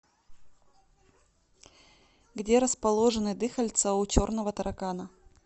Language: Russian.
где расположены дыхальца у черного таракана